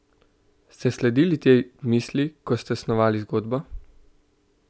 Ste sledili tej misli, ko ste snovali zgodbo?